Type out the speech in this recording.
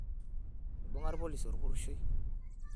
Eibung'a ilpolisi olpuroshoi.